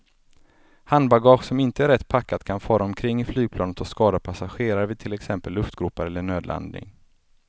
Handbagage som inte är rätt packat kan fara omkring i flygplanet och skada passagerare vid till exempel luftgropar eller nödlandning.